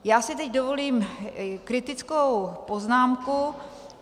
Já si teď dovolím kritickou poznámku.